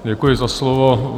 Děkuji za slovo.